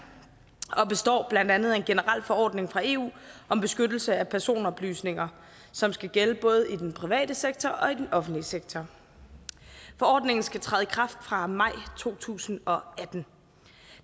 og består blandt andet af en generel forordning fra eu om beskyttelse af personoplysninger som skal gælde både i den private sektor og i den offentlige sektor forordningen skal træde i kraft fra maj to tusind og atten